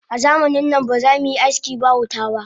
Azamanin nan ba zamuyi aski ba wuta ba